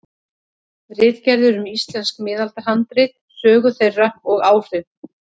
Ritgerðir um íslensk miðaldahandrit, sögu þeirra og áhrif.